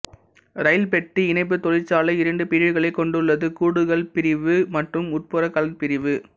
இரயில்பெட்டி இணைப்புத் தொழிற்சாலை இரண்டு பிரிவுகளை கொண்டுள்ளது கூடுகள் பிரிவு மற்றும் உட்புறக் கலன் பிரிவு